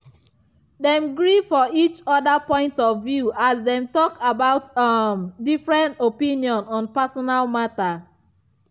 dem gree for each other point of view as dem dey talk about um different opinion on personal matter.